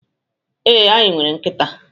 Ee, anyị nwere nkịta.